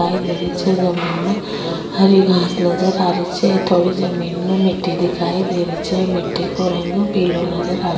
दिखाई दे रही छे जमीन में हरी घांस नजर आ रही छे थोड़ी जमीन में मिटटी दिखाई दे रही छे मिटटी को रंग पिलो नजर आ --